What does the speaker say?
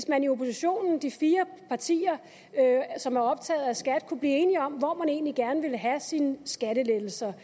man i oppositionen blandt de fire partier som er optaget af skat kunne blive enige om hvor man egentlig gerne vil have sine skattelettelser